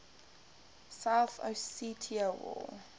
south ossetia war